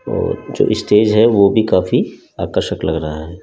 और जो स्टेज है वो भी काफी आकर्षक लग रहा है।